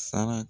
Sara